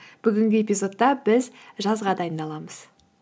бүгінгі эпизодта біз жазға дайындаламыз